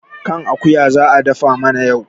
kan akuya za a dafa mana yau